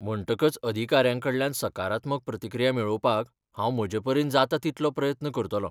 म्हणटकच अधिकाऱ्यांकडल्यान सकारात्मक प्रतिक्रिया मेळोवपाक हांव म्हजेपरीन जाता तितलो यत्न करतलों.